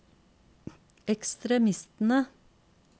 ekstremistene